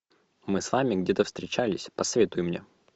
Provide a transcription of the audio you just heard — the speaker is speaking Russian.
мы с вами где то встречались посоветуй мне